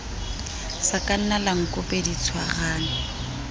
sakana la nkope di tshwarane